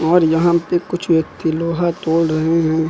और यहां पे कुछ व्यक्ति लोहा तोल रहे है।